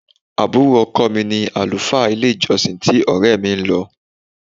Àbúrò ọkọ̀ mi ni àlùfáà ilé-ìjọsìn tí ọrẹ mi ń lọ.